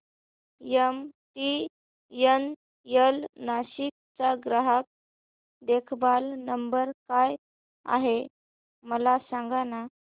MTNL Nashik चा ग्राहक देखभाल नंबर काय आहे मला सांगाना